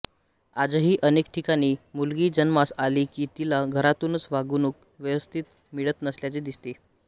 आजही अनेक ठिकाणी मुलगी जन्मास आली कि तिला घरातुनच वागणूक व्यवस्थित मिळत नसल्याचे दिसते